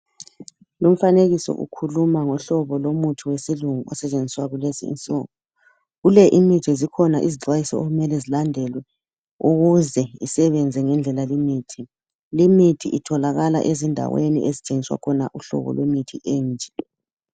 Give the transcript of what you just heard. Umfanekiso ukhuluma ngohlobo lomuthi wesilungu osetshenziswa kulezi insuku. Kule imithi zikhona izixwayiso okumele zilandelwe ukuze isebenze ngendlela limithi. Limithi itholakala ezindaweni ezithengiswa khona uhlobo lwemithi enje.